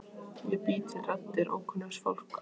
Ég bý til raddir ókunnugs fólks.